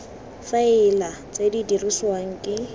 faela tse di dirisiwang ke